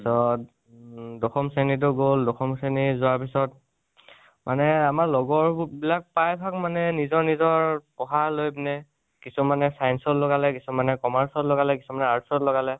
তাচত, উম দশম শ্ৰণীটো গল, দশম শ্ৰণী যোৱাৰ পিছত মনে আমাৰ লগৰ বো বিলাক প্ৰায়ভাগ মানে নিজৰ নিজৰ পঢ়া লৈ পিনে, কিছুমানে science ত লগালে, কিছুমানে commerce ত লগালে, কিছুমানে arts ত লগালে